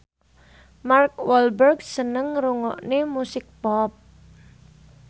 Mark Walberg seneng ngrungokne musik pop